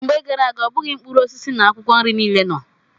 Mgbe gara aga, ọ bụghị mkpụrụ osisi na akwụkwọ nri niile nọ.